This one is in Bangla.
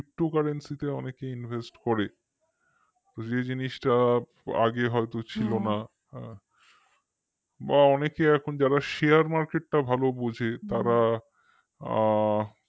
ptocurency তে অনেকেই invest করে যে জিনিসটা আগে হয়তো ছিল না বা অনেকে এখন যারা share market টা ভালো বোঝে তারা আ